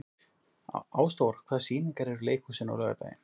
Ásdór, hvaða sýningar eru í leikhúsinu á laugardaginn?